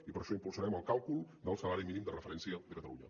i per això impulsarem el càlcul del salari mínim de referència de catalunya